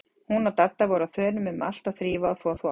Hún og Dadda voru á þönum um allt að þrífa og þvo þvott.